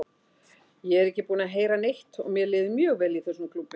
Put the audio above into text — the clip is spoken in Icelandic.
Ég er ekki búinn að heyra neitt og mér líður mjög vel í þessum klúbbi.